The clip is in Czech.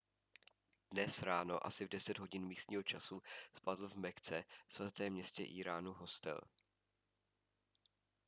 dnes ráno asi v 10 hodin místního času spadl v mekce svatém městě islámu hostel